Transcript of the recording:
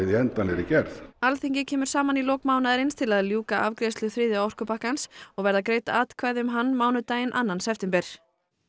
í endanlegri gerð Alþingi kemur saman í lok mánaðarins til að ljúka afgreiðslu þriðja orkupakkans og verða greidd atkvæði um hann mánudaginn annan september